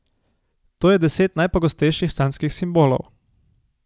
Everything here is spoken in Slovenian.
To je deset najpogostejših sanjskih simbolov.